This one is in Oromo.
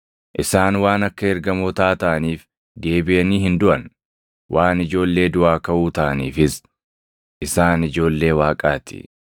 Isaan waan akka ergamootaa taʼaniif deebiʼanii hin duʼan; waan ijoollee duʼaa kaʼuu taʼaniifis isaan ijoollee Waaqaa ti.